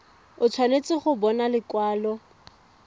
o tshwanetse go bona lekwalo